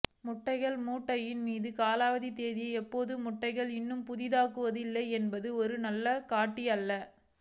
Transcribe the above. முட்டைகள் முட்டையின் மீது காலாவதி தேதியை எப்போதும் முட்டைகளை இன்னும் புதிதாக்குவதா இல்லையா என்பது ஒரு நல்ல காட்டி அல்ல